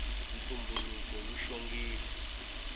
ntumbuluko wu xongile